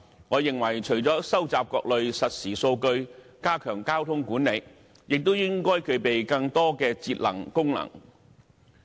我認為除了收集各類實時數據，以加強交通管理外，亦應該具備更多節能功能。